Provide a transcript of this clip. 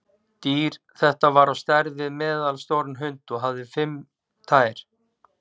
Dýr þetta var á stærð við meðalstóran hund og hafði fimm tær.